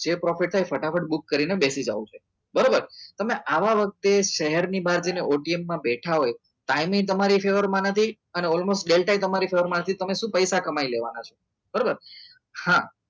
share profit થાય ફટાફટ પૂરું કરીને બેસી જાવ બરોબર તમે આવા વખતે શહેરની બહાર જઈને OTM માં બેઠા હોય ટાઈમે તમારે એ ફેવરમાં નથી અને almost ડેલ્ટા તમારા ફેવરમાં નથી તો તમે શું પૈસા કમાઈ લેવાના છે બરાબર હા